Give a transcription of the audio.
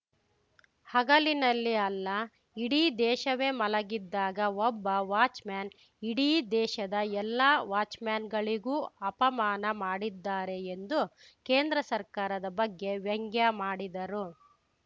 ಹಗಲಿನಲ್ಲಿ ಅಲ್ಲ ಇಡೀ ದೇಶವೇ ಮಲಗಿದ್ದಾಗ ಒಬ್ಬ ವಾಚ್‌ಮ್ಯಾನ್‌ ಇಡೀ ದೇಶದ ಎಲ್ಲ ವಾಚ್‌ಮ್ಯಾನ್‌ಗಳಿಗೂ ಅಪಮಾನ ಮಾಡಿದ್ದಾರೆ ಎಂದು ಕೇಂದ್ರ ಸರ್ಕಾರದ ಬಗ್ಗೆ ವ್ಯಂಗ್ಯ ಮಾಡಿದರು